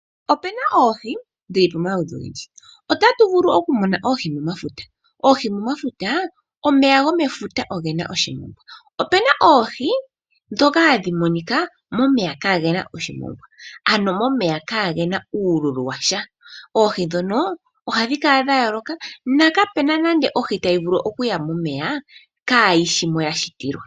Opena oohi dhi ili nodhi ili. Otatu vulu okumona oohi momafuta. Oohi momafuta omeya gomefuta ogena oshimongwa. Opena oohi dhoka hadhi monika momeya kaagena oshimongwa. Ano momeya kaagena uululu washa, oohi dhono ohadhi kala dha yooloka, na kapena nande ohi tayi vulu okuya momeya, kaa yishi moka ya shitilwa.